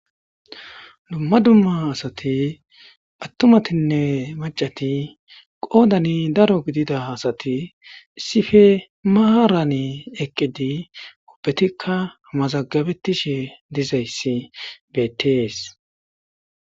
Dumma dumma asati atumatinne maccati qoddan daaro giddida asati issippe maaran eqqidi ubbetikka mazagabetishe diizayssi bettes.